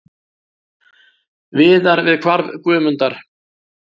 Viðar við hvarf Guðmundar.